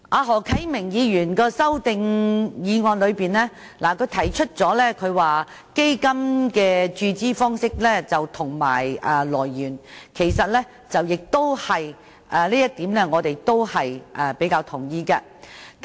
何啟明議員在修正案中提出基金的注資方式和來源，就這一點，我們也是比較同意的。